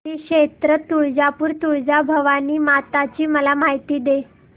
श्री क्षेत्र तुळजापूर तुळजाभवानी माता ची मला माहिती दे